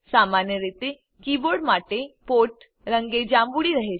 સામાન્ય રીતે કીબોર્ડ માટે પોર્ટ રંગે જાંબુડિ રહે છે